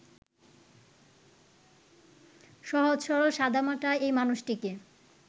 সহজ-সরল সাদামাটা এই মানুষটিকে